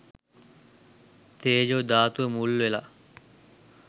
තේජෝ ධාතුව මුල් වෙලා.